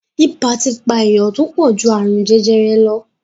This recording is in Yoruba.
Ibà ti pa èèyàn tó pọ̀ ju àrùn jẹjẹrẹ lọ